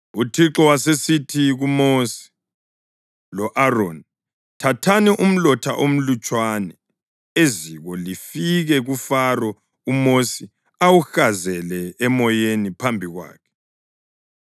UThixo wasesithi kuMosi lo-Aroni, “Thathani umlotha omlutshwana eziko lifike kuFaro uMosi awuhazele emoyeni phambi kwakhe.